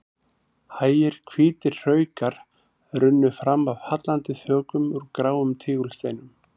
Hægir hvítir hraukar runnu fram af hallandi þökum úr gráum tígulsteinum.